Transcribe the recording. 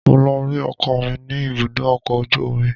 Mo lọ rí ọkọ mi ní ibùdó ọkọ̀ ojú omi